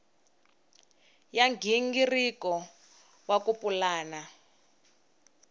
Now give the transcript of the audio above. ya nghingiriko wa ku pulana